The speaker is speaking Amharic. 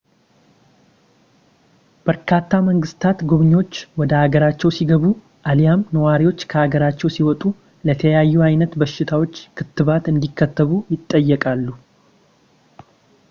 በርካታ መንግስታት ጎብኚዎች ወደ ሀገራቸው ሲገቡ አሊያም ነዋሪዎች ከሀገራቸው ሲወጡ ለተለያዩ አይነት በሽታዎች ክትባት እንዲከተቡ ይጠይቃሉ